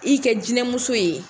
K'i kɛ jinɛmuso ye!